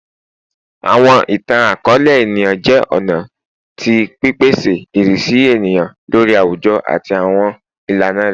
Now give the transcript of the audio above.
Awọn itan-akọọlẹ eniyan jẹ ọna ọna ti pipese irisi eniyan lori awujọ ati awọn ilana rẹ